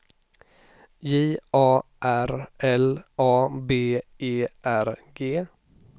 J A R L A B E R G